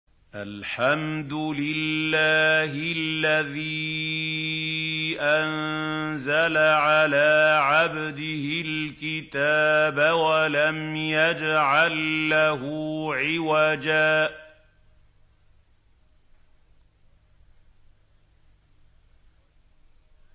الْحَمْدُ لِلَّهِ الَّذِي أَنزَلَ عَلَىٰ عَبْدِهِ الْكِتَابَ وَلَمْ يَجْعَل لَّهُ عِوَجًا ۜ